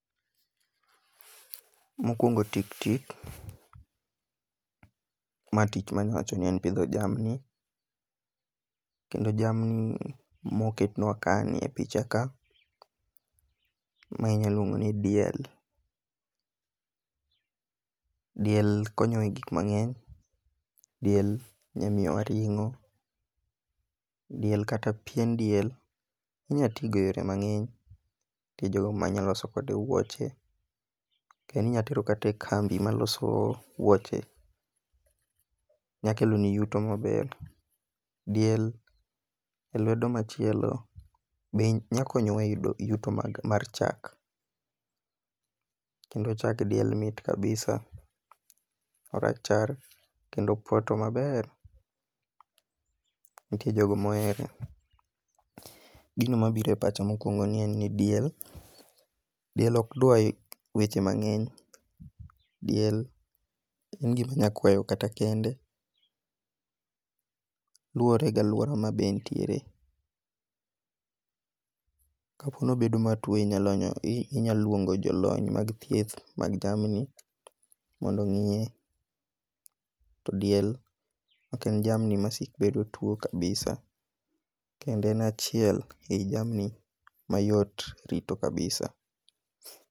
Mokuongo' tiktik ma tich manya wacho ni mar pitho jamni, kendo jamni moketwa kani e picha ka ma inyalo luongo ni diel, diel konyo e gik mangeny, diel nyamiyowa ring'o, diel kata pien diel inya tigo e yore mangeny nitie jogo ma nyalo loso kode wuoche kendo inyalo tero kata e kambi ma loso wuoche nyakeloni yuto maber, diel e lwedo machielo be nyalo konyo wa e yuto mag chak, kendo chag diel mit kabisa, orachar kendo opoto maber, nitie jogo mohere, gino mabiro e pacha en ni diel diel okdwar weche mange'ny, diel en gima nyalo kwayo kata kende luore gi aluora ma be en tiere, ka po ni obedo matuo inyalo luongo jolony mag thieth mag jamni mondo ongi'ye, to diel ok en jamni masik bedo matuo kabisa, kendo en achiel e yi jamni mayot rito kabisa